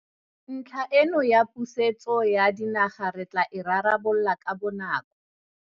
Ntlha eno ya pusetso ya dinaga re tla e rarabolola ka bonako.